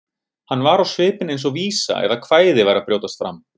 Hann var á svipinn eins og vísa eða kvæði væri að brjótast fram.